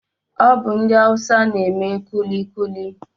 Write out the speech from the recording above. Ọ bụ ndị awusa n'eme kulikuli